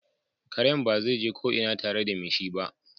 Karen baze ko ina barl tare da me shi ba.